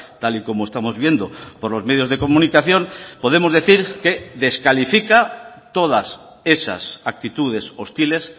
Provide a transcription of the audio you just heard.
tal y como estamos viendo por los medios de comunicación podemos decir que descalifica todas esas actitudes hostiles